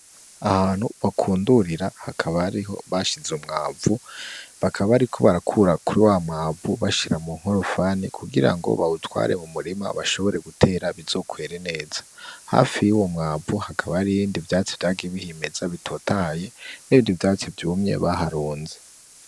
Ahantu bakundurira hakaba ariho bashize umwavu bakaba, ariko barakura kuri wa mwavu bashira mu nkorufani kugira ngo bawutware mu murima bashobore gutera bizokwere neza hafi y' uwo mwavu hakaba ari ibindi vyatsi vyakibihimeza bitotaye n'bindi vyatsi vyumye baharunze.